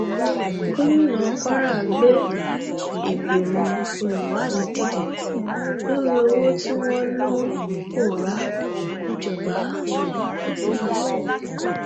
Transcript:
gomina kwara gbé ìgbìmọ olùwádìí dìde lórí owó tí wọn lọ lọ ń pòórá níjọba ìbílẹ